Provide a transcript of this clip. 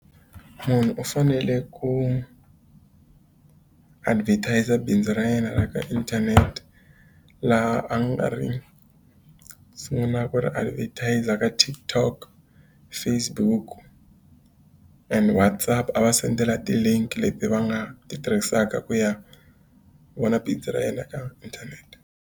Munhu u fanele ku advertiser bindzu ra yena ra ka inthanete, laha a nga ri sungulaka ku ri advertise endzhaku ka TikTok, Facebook and WhatsApp. A va sendela ti-link leti va nga ti tirhisaka ku ya vona bindzu ra yena ka inthanete.